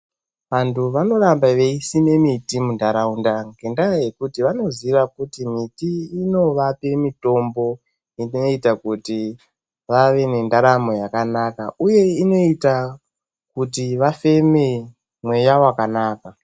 Vantu vanorambe veisima miti munharaunda ngendaa yekuti vanoziye kuti miti inovape mitombo inoita kuti vave nendaramo yakanaka uye inoita kuti vafeme mweya wakanaka